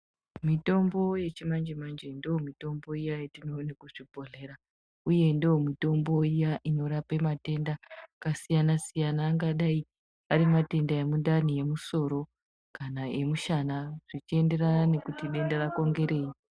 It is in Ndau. Mitombo yechimanje-manje ndomitombo iya yatinoone kuchibhodhlera, uye ndiyo mitombo iya inorape matenda akasiyana-siyana. Angadai ari matenda emundani, emusoro kana emushana zvichienderana nekuti denda rako nderei.